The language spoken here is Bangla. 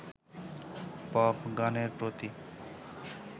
পপ গানের প্রতি